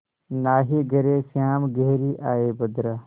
नाहीं घरे श्याम घेरि आये बदरा